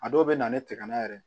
A dɔw bɛ na ni tɛgana yɛrɛ ye